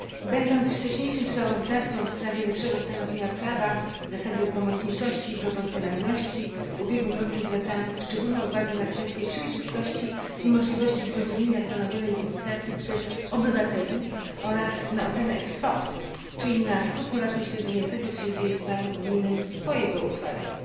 Będąc wcześniejszym sprawozdawcą w sprawie lepszego stanowienia prawa, zasady pomocniczości i proporcjonalności w ubiegłym roku, zwracałam szczególną uwagę na kwestię przejrzystości i możliwości zrozumienia stanowionej legislacji przez obywateli oraz na ocenę czyli na skrupulatne śledzenie tego, co się dzieje z prawem unijnym po jego uchwaleniu.